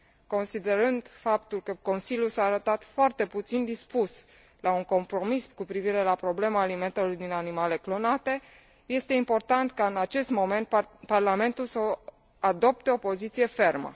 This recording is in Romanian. Considerând faptul că Consiliul s a arătat foarte puțin dispus la un compromis cu privire la problema alimentelor din animale clonate, este important ca în acest moment Parlamentul să adopte o poziție fermă.